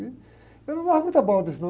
E eu não dava muita bola para isso, não.